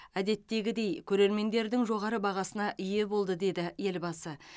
әдеттегідей көрермендердің жоғары бағасына ие болды деді елбасы